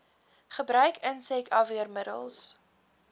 gebruik insek afweermiddels